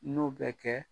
N'o bɛ kɛ